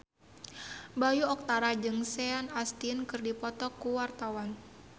Bayu Octara jeung Sean Astin keur dipoto ku wartawan